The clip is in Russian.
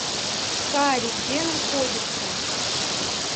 кари где находится